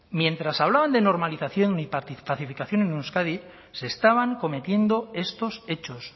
mientras hablaban de normalización y pacificación en euskadi se estaban cometiendo estos hechos